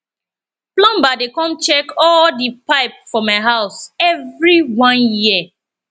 plumber dey come check all di pipe for my house every one year